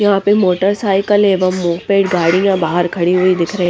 यहाँ पे मोटरसाइकिल एवं मोह पेट गाड़ियाँ बाहर खड़ी हुई दिख रही--